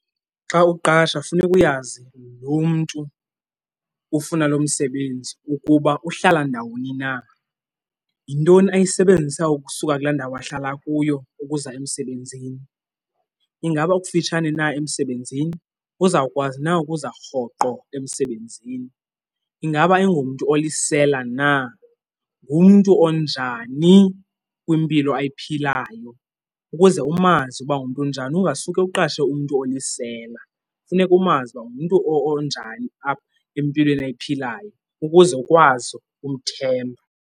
Xa uqasha funeka uyazi lo mntu ufuna lo msebenzi ukuba uhlala ndawoni na. Yintoni ayisebenzisa ukusuka kulaa ndawo ahlala kuyo ukuza emsebenzini? Ingaba ukufitshane na emsebenzini, uzawukwazi na ukuza rhoqo emsebenzini? Ingaba ayingomntu olisela na, ngumntu onjani kwimpilo ayiphilayo? Ukuze umazi ukuba ngumntu onjani ungasuke uqashe umntu olisela, funeka umazi uba ungumntu onjani apha empilweni ayiphilayo ukuze ukwazi ukumthemba.